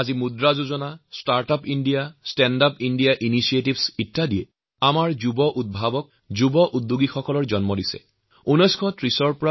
আজি Mudra Yojana startup India standup ইণ্ডিয়াৰ দৰে প্ৰকল্পসমূহে আমাৰ দেশত যুৱউদ্যোগী যুবউদ্ভাৱক সৃষ্টি কৰিছে